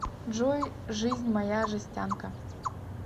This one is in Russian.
джой жизнь моя жестянка